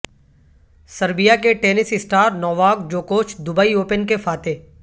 Serbia کے tennis star Novak جوکووچ Dubai open کے فاتح